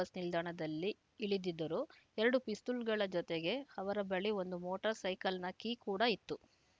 bus ನಿಲ್ದಾಣದಲ್ಲಿ ಇಳಿದಿದ್ದರು ಎರಡು ಪಿಸ್ತೂಲ್‌ಗಳ ಜತೆಗೆ ಅವರ ಬಳಿ ಒಂದು ಮೋಟರ್‌ ಸೈಕಲ್‌ನ ಕೀ ಕೂಡ ಇತ್ತು